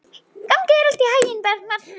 Gangi þér allt í haginn, Bergmar.